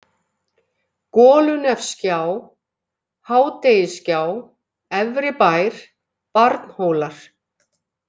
Golunefsgjá, Hádegisgjá, Efribær, Barnhólar